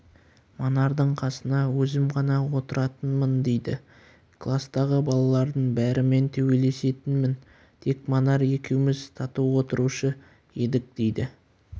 манардың қасына өзім ғана отыратынмын дейді кластағы балалардың бәрімен төбелесетінмін тек манар екеуміз тату отырушы едік дейді